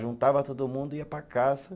Juntava todo mundo e ia para a caça.